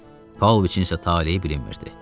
Paulviçin isə taleyi bilinmirdi.